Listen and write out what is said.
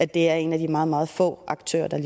de er en af de meget meget få aktører der